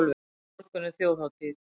Á morgun er þjóðhátíð.